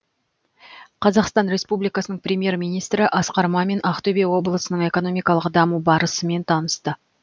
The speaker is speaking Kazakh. қазақстан республикасының премьер министрі асқар мамин ақтөбе облысының экономикалық даму барысымен танысты